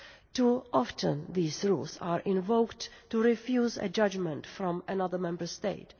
Too often these rules are invoked to refuse a judgement from another Member State.